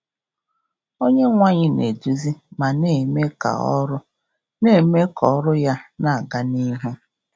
Onyenweanyị na-eduzi ma na-eme ka ọrụ na-eme ka ọrụ Ya na-aga n’ihu.